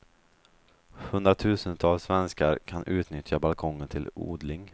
Hundratusentals svenskar kan utnyttja balkongen till odling.